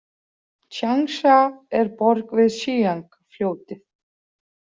Tsjangsja er borg við Hsíang- fljótið.